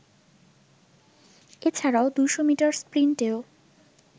এছাড়াও ২০০ মিটার স্প্রিন্টেও